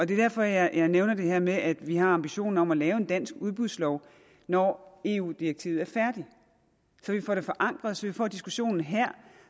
det er derfor jeg nævner det her med at vi har ambitionen om at lave en dansk udbudslov når eu direktivet er færdigt så vi får det forankret og så vi får diskussionen her